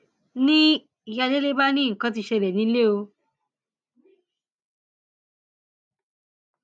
ni ìyá délé bá ní nǹkan ti ṣẹlẹ nílẹ o